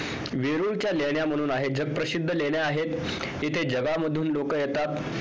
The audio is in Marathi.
वेरूळ च्या लेण्या म्हणून आहेत ज्या प्रसिद्ध लेण्या आहेत तिथे जगांमधून लोक येतात